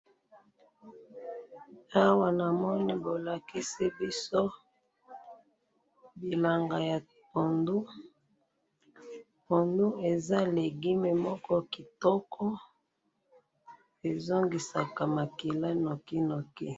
awa namoni bolakisi biso bilanga ya pondu pondu eza legume moko kitoko eza lisaka makila nokinoki